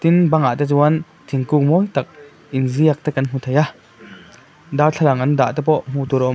bangah te chuan thingkung mawi tak inziak te kan hmu thei a darthlalang an dah te pawh hmuh tur a awm.